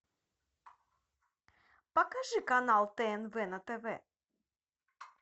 покажи канал тнв на тв